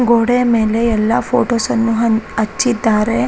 ಗೋಡೆಯ ಮೇಲೆ ಎಲ್ಲ ಫೋಟೋಸ್ಅನ್ನು ಅನ್ ಹಚ್ಚಿದ್ದಾರೆ.